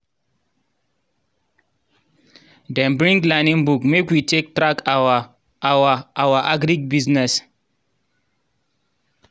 dem bring learning book make we take track our our our agric business